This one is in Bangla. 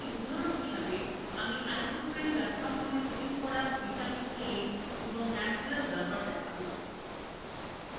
একটি উদাহরণ হিসাবে: আমি isoprene ব্যবহার করে তৈরি করা vitamin a and natural rubber দেখানো